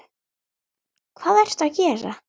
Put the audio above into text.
Þú varst ekki lengi að þessu, sagði Sveinn.